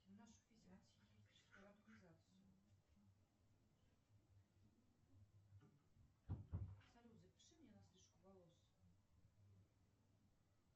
салют запиши меня на стрижку волос